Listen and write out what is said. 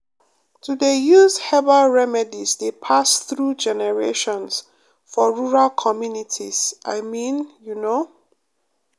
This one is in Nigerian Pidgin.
to dey use herbal remedies dey pass through generations for rural communities i mean you know